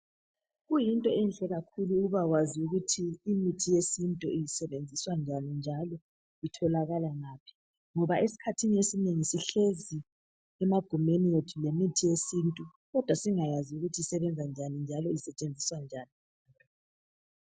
Kuyinto enhle kakhulu ukuba kwazi ukuthi imithi yesintu isebenziswa njani itholakala ngaphi ngoba isikhathini esinengi sihlezi emagumeni ethu lemithi yesintu kodwa singayazi ukuthi isebenza njani njalo isetshenziswa njani.